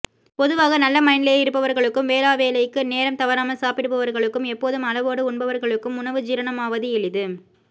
பொதுவாக நல்ல மனநிலையில் இருப்பவர்களுக்கும் வேளாவேளைக்கு நேரம் தவறாமல் சாப்பிடுபவர்களுக்கும் எப்போதும் அளவோடு உண்பவர்களுக்கும் உணவு ஜீரணமாவது எளிது